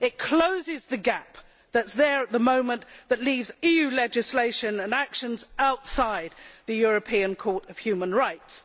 It closes the gap which is there at the moment and which leaves EU legislation and actions outside the European Court of Human Rights.